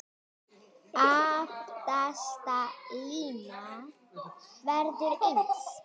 Aftasta línan verður eins.